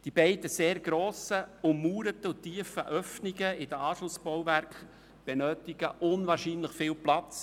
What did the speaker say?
Die beiden ummauerten und sehr tiefen Öffnungen der Anschlussbauwerke benötigen wie bereits gesagt unwahrscheinlich viel Platz.